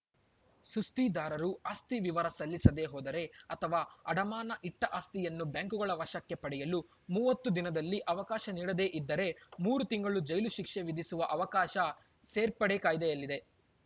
ಸುಸ್ತಿದಾರರು ಆಸ್ತಿ ವಿವರ ಸಲ್ಲಿಸದೇ ಹೋದರೆ ಅಥವಾ ಅಡಮಾನ ಇಟ್ಟಆಸ್ತಿಯನ್ನು ಬ್ಯಾಂಕುಗಳು ವಶಕ್ಕೆ ಪಡೆಯಲು ಮೂವತ್ತು ದಿನದಲ್ಲಿ ಅವಕಾಶ ನೀಡದೇ ಇದ್ದರೆ ಮೂರು ತಿಂಗಳು ಜೈಲು ಶಿಕ್ಷೆ ವಿಧಿಸುವ ಅವಕಾಶ ಸರ್ಫೇಸಿ ಕಾಯ್ದೆಯಲ್ಲಿದೆ